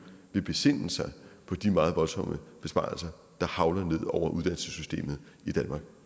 vil besinde sig på de meget voldsomme besparelser der hagler ned over uddannelsessystemet i danmark